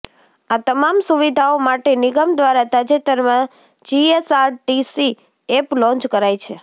આ તમામ સુવિધાઓ માટે નિગમ દ્વારા તાજેતરમાં જીએસઆરટીસી એપ લોન્ચ કરાઈ છે